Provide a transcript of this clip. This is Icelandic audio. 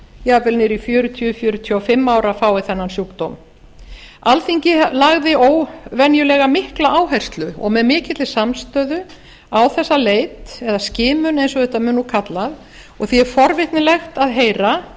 jafnvel niður í fjörutíu fjörutíu og fimm ára fái þennan sjúkdóm alþingi lagði óvenjulega mikla áherslu og með mikilli samstöðu á þessa leit eða skimun eins og þetta mun kallað og því er forvitnilegt að heyra